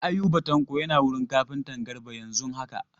Ayuba Tanko yana wurin kafintan Garba yanzun haka.